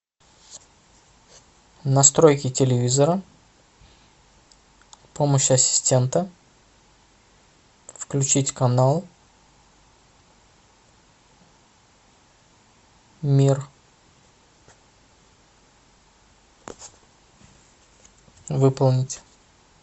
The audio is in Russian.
настройки телевизора помощь ассистента включить канал мир выполнить